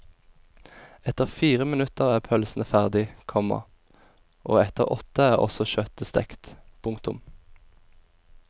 Etter fire minutter er pølsene ferdig, komma og etter åtte er også kjøttet stekt. punktum